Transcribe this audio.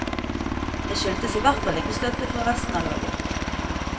Det skyldtes i hvert fall ikke støtte fra resten av laget.